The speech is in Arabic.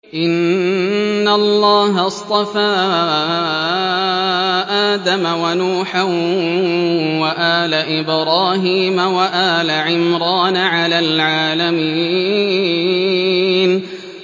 ۞ إِنَّ اللَّهَ اصْطَفَىٰ آدَمَ وَنُوحًا وَآلَ إِبْرَاهِيمَ وَآلَ عِمْرَانَ عَلَى الْعَالَمِينَ